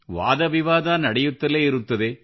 ವಾದ ವಿವಾದ ನಡೆಯುತ್ತಲೇ ಇರುತ್ತದೆ